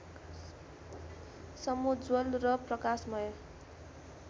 समुज्ज्वल र प्रकाशमय